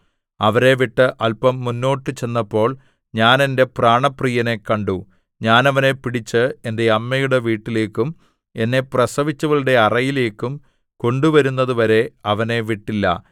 അവരെ വിട്ട് അല്പം മുന്നോട്ട് ചെന്നപ്പോൾ ഞാൻ എന്റെ പ്രാണപ്രിയനെ കണ്ടു ഞാൻ അവനെ പിടിച്ച് എന്റെ അമ്മയുടെ വീട്ടിലേക്കും എന്നെ പ്രസവിച്ചവളുടെ അറയിലേക്കും കൊണ്ടുവരുന്നതുവരെ അവനെ വിട്ടില്ല